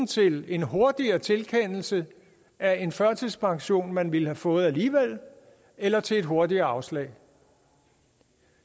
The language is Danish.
til en hurtigere tilkendelse af en førtidspension man ville have fået alligevel eller til et hurtigere afslag